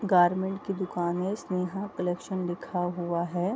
Garment की दुकान है स्नेहा कलेक्शन लिखा हुआ है।